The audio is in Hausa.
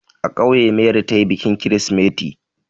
A ƙauye Mary ta yi bikin kirsimeti.